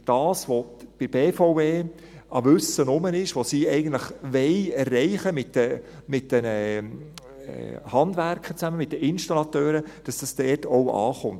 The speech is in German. Das ist das, was bei der BVE an Wissen vorhanden ist, das, was sie eigentlich erreichen wollen mit den Handwerkern zusammen, mit den Installateuren, damit das dort auch ankommt.